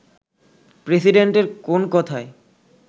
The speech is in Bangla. প্রেসিডেন্টের কোন কথায়